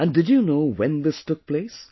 And do you know when this took place